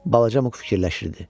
Balaca Muq fikirləşirdi.